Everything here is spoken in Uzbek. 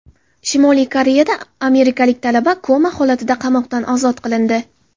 Shimoliy Koreyada amerikalik talaba koma holatida qamoqdan ozod qilindi.